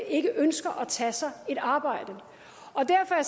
ikke ønsker at tage sig et arbejde og derfor er